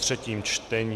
třetí čtení